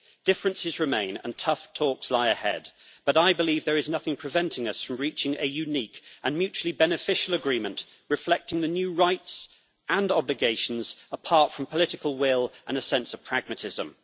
Differences remain and tough talks lie ahead, but I believe there is nothing preventing us from reaching a unique and mutually beneficial agreement, reflecting the new rights and obligations, apart from the political will and a sense of pragmatism.